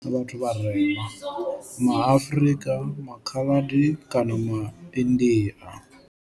Vhathu vharema ma Afrika, ma Khaladi kana ma India.